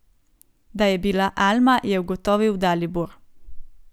Da je bila Alma, je ugotovil Dalibor.